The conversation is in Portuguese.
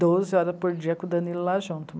Doze horas por dia com o Danilo lá junto.